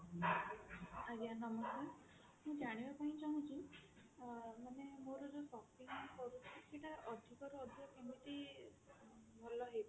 ଆଜ୍ଞା ନମସ୍କାର ମୁଁ ଜାଣିବା ପାଇଁ ଚାହୁଁଛି ମାନେ ମୋର ଯୋଉ shopping ମୁଁ କରୁଛି ସେଟା ଅଧିକ ରୁ ଅଧିକ ଭଲ କେମିତି ହେଇ ପାରିବ